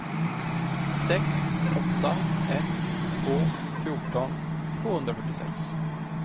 sex åtta ett två fjorton tvåhundrafyrtiosex